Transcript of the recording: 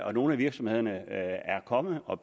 og nogle af virksomhederne er kommet og